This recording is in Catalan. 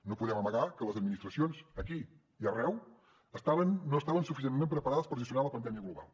no podem amagar que les administracions aquí i arreu no estaven suficientment preparades per gestionar la pandèmia global